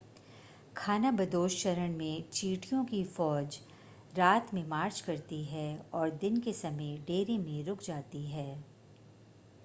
खानाबदोश चरण में चींटियों की फ़ौज रात में मार्च करती हैं और दिन के समय डेरे में रुक जाती हैं